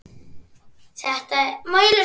Þetta er alveg öfugt.